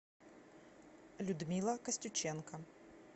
людмила костюченко